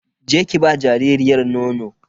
Je ki ba jaririyar nono.